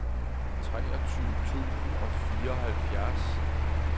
treogtyve tusind og fireoghalvfjerds